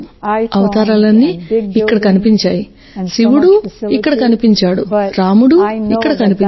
అవతారాలన్నీ ఇక్కడ కనిపించాయి శివుడు ఇక్కడ కనిపించాడు రాముడు ఇక్కడ కనిపించాడు